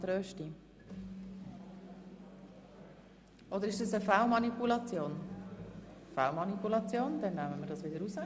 Ich wünsche Ihnen einen guten Appetit, und wir treffen uns um 13.30 Uhr wieder hier im Saal.